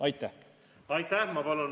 Aitäh!